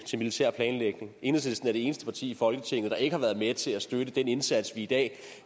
til militær planlægning enhedslisten er det eneste parti i folketinget der ikke har været med til at støtte den indsats vi i dag